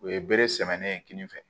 U ye bere sɛnmɛnnen ye kini fɛ